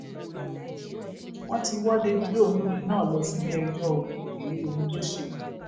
wọn ti wọ davido olórin náà lọ síléẹjọ ò èyí lóhun tó ṣe